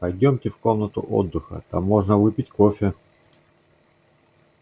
пойдёмте в комнату отдыха там можно выпить кофе